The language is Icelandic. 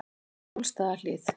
Bólstaðarhlíð